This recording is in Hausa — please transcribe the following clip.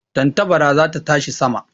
Tantabara za ta tashi sama